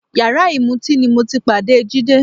Yàrá ìmutíì ni mo ti pàdé Jídé